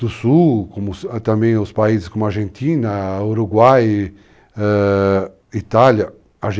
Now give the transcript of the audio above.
do sul, como também os países como a Argentina, Uruguai, é, Itália.